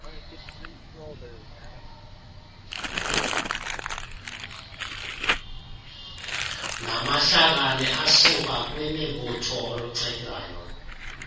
namahlakani asukakwimibutho olucetywayo